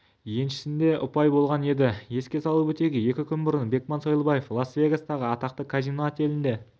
еншісінде ұпай болған еді еске салып өтейік екі күн бұрын бекман сойлыбаев лас-вегастағы атақты казино-отелінде